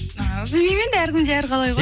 ааа білмеймін енді әркімде әр қалай ғой